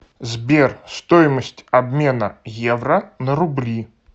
сбер стоимость обмена евро на рубли